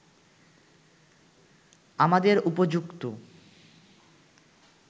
আমাদের উপযুক্ত